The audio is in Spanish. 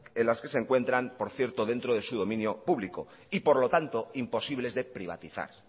en las que se encuentran por cierto dentro de su dominio público y por lo tanto imposibles de privatizar